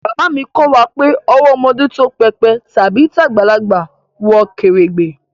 Baba mi ko wa pe owó ọmọdé tó pépè tàbí tagbalagbà wọ kèrègbè